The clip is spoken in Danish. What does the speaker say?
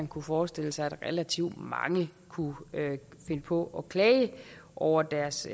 kunne forestille sig at relativt mange kunne finde på at klage over deres